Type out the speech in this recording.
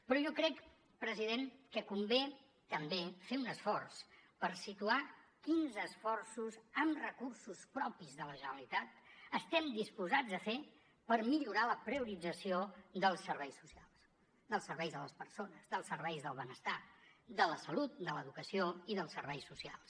però jo crec president que convé també fer un esforç per situar quins esforços amb recursos propis de la generalitat estem disposats a fer per millorar la priorització dels serveis socials dels serveis a les persones dels serveis del benestar de la salut de l’educació i dels serveis socials